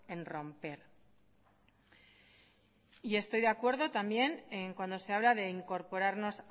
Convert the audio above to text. en romper y estoy de acuerdo también cuando se habla de incorporarnos